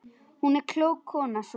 Hún var klók, konan sú.